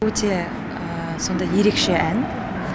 өте сондай ерекше ән